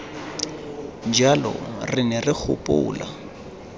jalo re ne re gopola